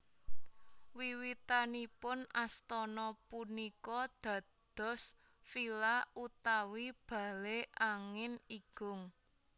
Wiwitanipun astana punika dados villa utawi bale angin igung